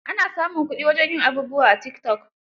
Ana samun kuɗi wajen yin abubuwa a tikitok.